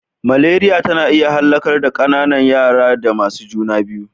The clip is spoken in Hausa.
Maleriya tana iya hallaka ƙananan raya da masu juna biyu.